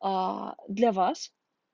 аа для вас